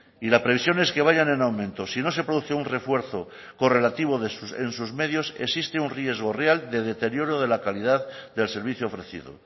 y la previsión es que vayan en aumento sino se produce un refuerzo correlativo en sus medios existe un riesgo real de deterioro de la calidad del servicio ofrecido